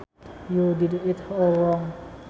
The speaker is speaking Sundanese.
You did it all wrong